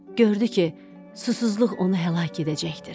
Gördü ki, susuzluq onu həlak edəcəkdir.